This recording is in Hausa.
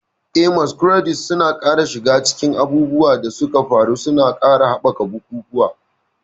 Eh, Masquerades suna shiga cikin abubuwan da suka faru, suna ƙara haɓaka ga bukukuwa.